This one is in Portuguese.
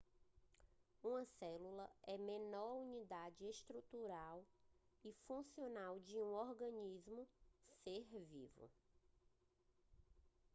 uma célula é a menor unidade estrutural e funcional de um organismo ser vivo